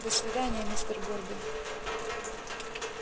до свидания мистер горбин